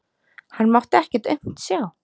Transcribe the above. Hann mátti ekkert aumt sjá.